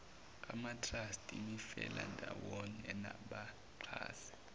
amatrust imifelandawonye nabaxhasi